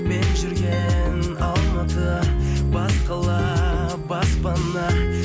мен жүрген алматы бас қала баспана